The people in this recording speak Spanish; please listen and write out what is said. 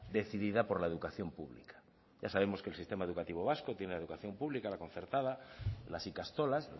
decidida por la educación pública ya sabemos que el sistema educativo vasco tiene la educación pública la concertada las ikastolas